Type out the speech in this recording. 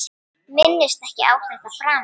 Minnist ekki á þetta framar.